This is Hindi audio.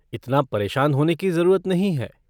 इतना परेशान होने की ज़रूरत नहीं है!